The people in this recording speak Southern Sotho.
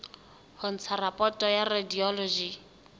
ho ntsha raporoto ya radiology